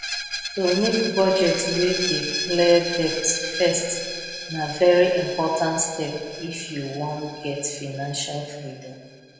to make budget wey dey clear debt first na very important step if you wan get financial freedom